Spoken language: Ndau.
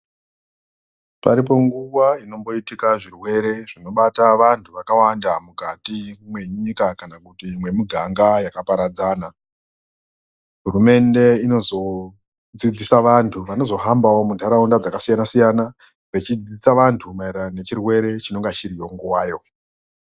Paripo nguwa inomboitika zvirwere zvinobata vantu vakawanda mukati mwenyika kana kuti mwemuganga yakaparadzana hurumende inozodzidzisa vantu vanozohambawo mundaraunda dzakasiyana siyana vechidzidzisa vantu maererano nechirwere chinenge chiriyo nguwayo.